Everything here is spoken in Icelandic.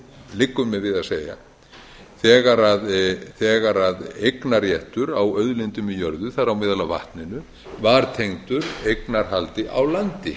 liggur mér við að segja þegar eignarréttur á auðlindum í jörðu þar á meðal á vatninu var tengdur eignarhaldi á landi